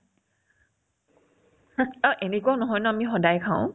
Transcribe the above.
স অ এনেকুৱাও নহয় ন আমি সদায় খাও